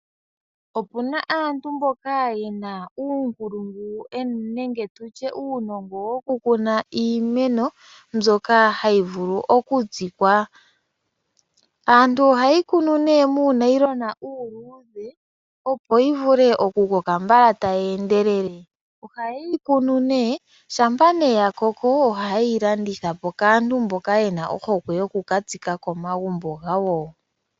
Opuna aantu mbono yena uunongo nuunkulungu wokukuna iimeno mbyoka hayi vulu okutsikwa. Aantu ohayeyi kunu muunayilona uuluudhe opo yivule okukoka mbala taye endelele. Ngele yakoko ohayeyi landitha po kaantu mboka yena ohokwe yokutsika komagumbo.